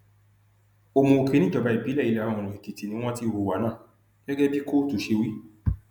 òmuòkè níjọba ìbílẹ ìlàoòrùn èkìtì ni wọn ti hùwà náà gẹgẹ bí kóòtù ṣe wí